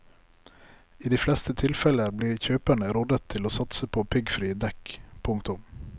I de fleste tilfeller blir kjøperne rådet til å satse på piggfrie dekk. punktum